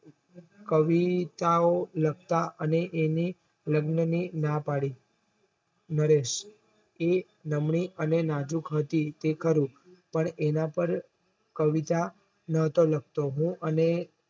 કવિતાઓ લખતા અને એને લગ્ન ની નાં પાડી નરેશ એ નામની અને નાજુક હતી એ ખરું પણ એનાપર કવિતાઓ નોતો લખતો હું અને